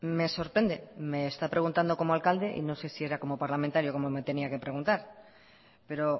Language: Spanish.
me sorprende me está preguntado como alcalde y no sé si era como parlamentario como me tenía que preguntar pero